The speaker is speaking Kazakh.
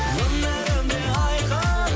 өмірім де айқын